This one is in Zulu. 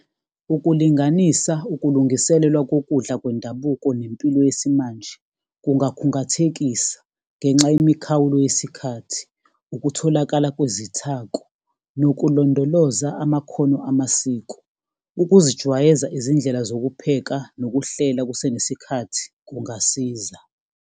Ukulinganisa ukulungiselelwa kokudla kwendabuko nempilo yesimanje, kungakhungathengisa, ngenxa yemikhawulo yesikhathi. Ukutholakala kwezithako nokulondoloza amakhono amasiko, ukuzijwayeza izindlela zokupheka nokuhlela kusenesikhathi kungasiza.